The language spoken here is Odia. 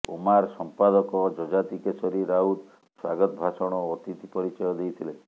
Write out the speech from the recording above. ଓମାର ସମ୍ପାଦକ ଯଯାତି କେଶରୀ ରାଉତ ସ୍ବାଗତ ଭାଷଣ ଓ ଅତିଥି ପରିଚୟ ଦେଇଥିଲେ